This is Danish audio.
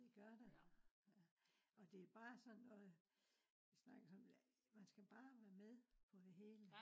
det gør der ja. og det bare sådan noget øh man skal bare være med på det hele